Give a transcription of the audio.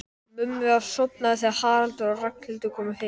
Mummi var sofnaður þegar Haraldur og Ragnhildur komu heim.